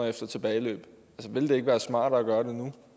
efter tilbageløb ville det være smartere